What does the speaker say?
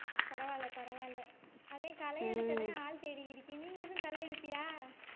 பரவாயில்லை பரவாயில்லை அதே களை எடுக்கவே ஆள் தேடிக்கிட்டு இருக்கேன் நீ ஏதும் களை எடுப்பியா